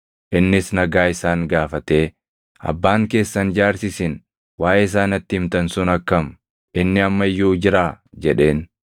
Innis nagaa isaan gaafatee, “Abbaan keessan jaarsi isin waaʼee isaa natti himtan sun akkam? Inni amma iyyuu jiraa?” jedheen.